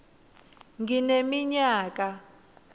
ngineminyaka